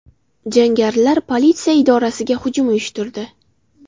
Jangarilar politsiya idorasiga hujum uyushtirdi.